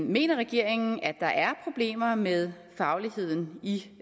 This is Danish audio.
mener regeringen at der er problemer med fagligheden i